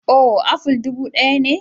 Oh, aful dubu ɗaya ne.